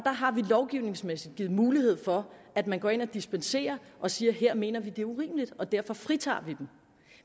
har vi lovgivningsmæssigt givet mulighed for at man går ind og dispenserer og siger at her mener vi at det er urimeligt og derfor fritager vi dem